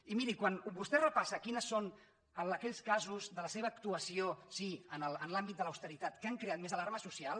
i miri quan vostè repassa quines són aquells casos de la seva actuació sí en l’àmbit de l’austeritat que han creat més alarma social